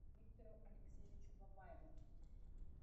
виктору алексеевичу бабаеву